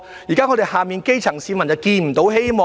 現時我們的基層市民看不到希望。